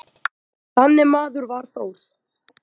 Þannig maður var Þór.